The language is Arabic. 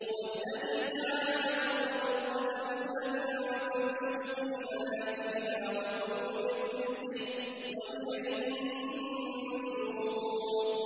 هُوَ الَّذِي جَعَلَ لَكُمُ الْأَرْضَ ذَلُولًا فَامْشُوا فِي مَنَاكِبِهَا وَكُلُوا مِن رِّزْقِهِ ۖ وَإِلَيْهِ النُّشُورُ